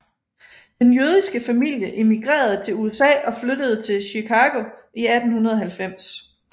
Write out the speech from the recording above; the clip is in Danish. Den jødiske familie immigrerede til USA og flyttede til Chicago i 1890